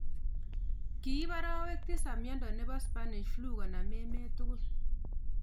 Kiip arawek tisap miondo nebo spanish flu konam emet tugul